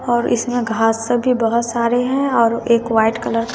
और इसमें घास सभी बहोत सारे हैं और एक व्हाइट कलर --